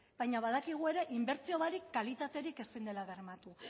baina badakigu ere inbertsio barik kalitaterik ezin dela bermatu